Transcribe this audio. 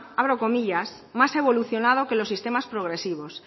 más evolucionado que los sistemas progresivos